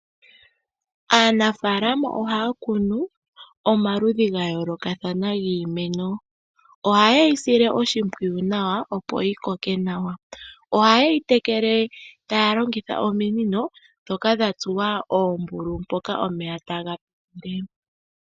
Aanafaalama ohaya kunu omaludhi gayoolokathana giimeno. Ohaye yisile oshimpwiyu nawa opo yikoke nawa. Oha ye yitekele taya longitha ominino dhoka dhatsuwa oombululu mpoka omeya taga pitile.